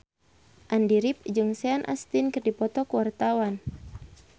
Andy rif jeung Sean Astin keur dipoto ku wartawan